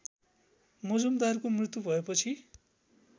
मजुमदारको मृत्यु भएपछि